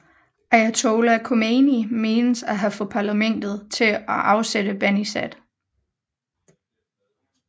Ayatollah Khomeini menes at have fået parlamentet til at afsætte Banisadr